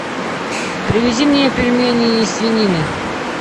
привези мне пельмени из свинины